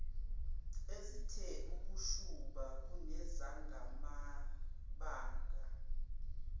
ezithe ukushuba kunezamabanga